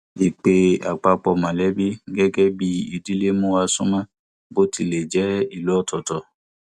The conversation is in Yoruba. ìpè àpapọ mọlẹbí gẹgẹ bí ìdílé mú wa sún mọ bó tilẹ jẹ ìlú ọtọọtọ